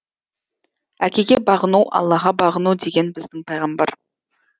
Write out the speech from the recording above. әкеге бағыну аллаға бағыну деген біздің пайғамбар